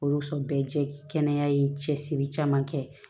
Olu so bɛɛ jɛkɛ kɛnɛya ye cɛsiri caman kɛ